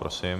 Prosím.